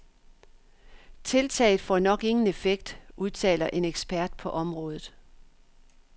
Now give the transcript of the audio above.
Tiltaget får nok ingen effekt, udtaler en ekspert på området.